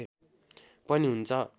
पनि हुन्छ